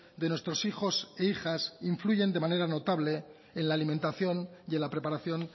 de nuestros hijos e hijas influyen de manera notable en la alimentación y en la preparación